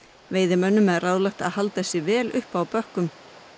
veiðimönnum er ráðlagt að halda sig vel uppi á bökkum